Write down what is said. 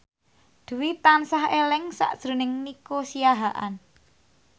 Dwi tansah eling sakjroning Nico Siahaan